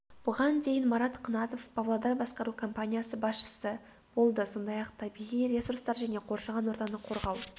бұған дейін марат қынатов павлодар басқару компаниясы басшысы болды сондай-ақ табиғи ресурстар және қоршаған ортаны қорғау